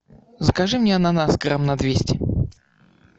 закажи мне ананас грамм на двести